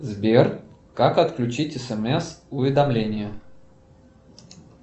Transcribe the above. сбер как отключить смс уведомление